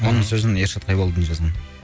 оның сөзін ершат қайболдин жазған